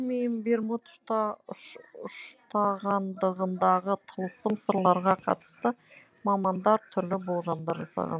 бермуд үштағанындағы тылсым сырларға қатысты мамандар түрлі болжамдар жасаған